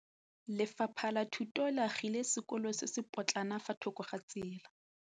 Lefapha la Thuto le agile sekôlô se se pôtlana fa thoko ga tsela.